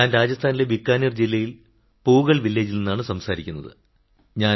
ഞാൻ രാജസ്ഥാനിലെ ബിക്കാനീർ ജില്ലയിൽ പൂഗൾ ഗ്രാമത്തിൽ നിന്നാണു സംസാരിക്കുന്നത്